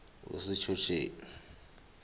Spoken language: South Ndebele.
wesitjhotjheni